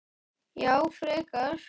Já, frekar.